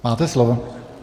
Máte slovo.